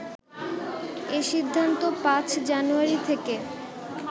এ সিদ্ধান্ত ৫ জানুয়ারি থেকে